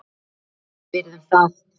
Við virðum það.